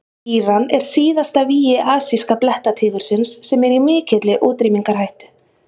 íran er síðasta vígi asíska blettatígursins sem er í mikilli útrýmingarhættu